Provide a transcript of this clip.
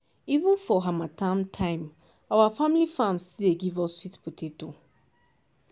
even for harmattan time our family farm still dey give us sweet potato.